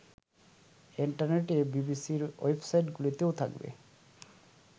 ইন্টারনেটে বিবিসির ওয়েবসাইটগুলিতেও থাকবে